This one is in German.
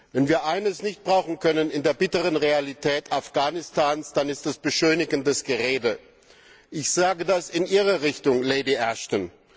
Wenn wir eines nicht brauchen können in der bitteren Realität Afghanistans, dann ist es beschönigendes Gerede. Ich sage das in Ihre Richtung, Lady Ashton.